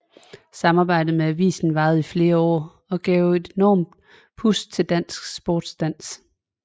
Samarbejdet med avisen varede i flere år og gav et enormt pust til dansk sportsdans